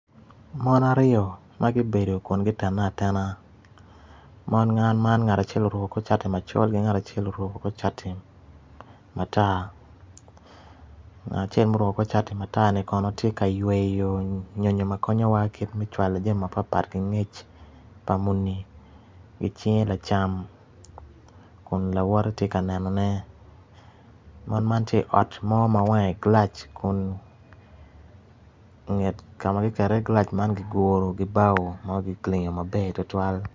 Mon aryo ma gubedo kun gutene atena mon man ngat acel oruko kor cati macol ki ngat acel oruko kor cati matar ngat acel ma oruko kor cati matar kono tye ka yweyo nyonyo ma konyowa kit me cawalo jami mapatpat ki ngec pa muni ki cinge lacam kun lawote tye ka nenone mon man tye i ot mo ma wange gilac kun nget kama ki keto iye gilac man kiguru ki bao ma kilingo maber tutwal